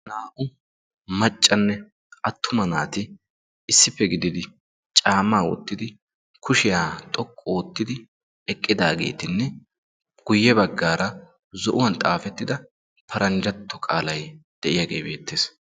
Naa"u maccanne attuma naati issippe gididi caammaa wottidi kushshiyaa xoqqu oottidi eqqidaagetinne guye baggaara zo'uwaan xaafettida paranjjatto qaalay de'iyaagee beettees.